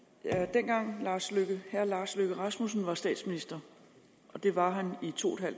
dengang herre lars løkke rasmussen var statsminister og det var han i to en